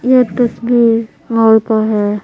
ये तस्वीर मॉल का है।